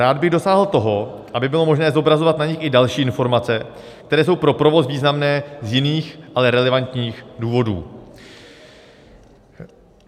Rád bych dosáhl toho, aby bylo možné zobrazovat na nich i další informace, které jsou pro provoz významné z jiných, ale relevantních důvodů.